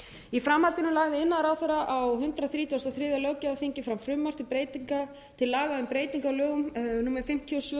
í framhaldinu lagði iðnaðarráðherra á hundrað þrítugasta og þriðja löggjafarþingi fram frumvarp til laga um breytingu á lögum númer fimmtíu og